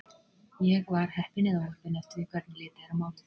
Ég var heppin eða óheppin eftir því hvernig litið er á málið.